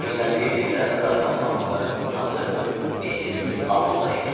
Gözəlliyi dillərdə dastan olan bu qadının adı Missis Auda idi.